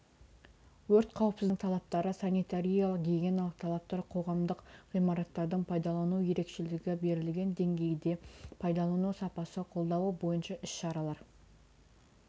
өрт қауіпсіздігінің талаптары санитариялық-гигиеналық талаптар қоғамдық ғимараттардың пайдалану ерекшелігі берілген деңгейде пайдалану сапасы қолдауы бойынша іс-шаралар